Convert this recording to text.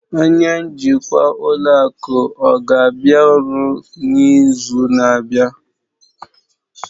Onye njikwa ụlọ akụ ọ ga-abịa ọrụ n'izu na-abịa?